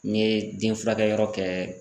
N ye den furakɛyɔrɔ kɛ